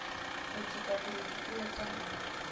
ho ntshetsa pele dipuo tsa